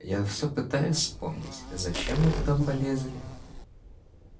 я вот всё пытаюсь вспомнить зачем мы туда полезли